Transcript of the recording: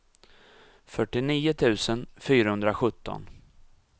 fyrtionio tusen fyrahundrasjutton